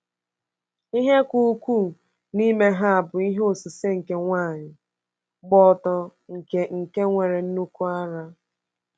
Ihe ka ukwuu n’ime ha bụ ihe osise nke nwanyị gba ọtọ nke nke nwere nnukwu ara.